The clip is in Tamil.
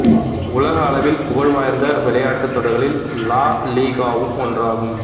உலக அளவில் புகழ்வாய்ந்த விளையாட்டுத் தொடர்களில் லா லீகாவும் ஒன்றாகும்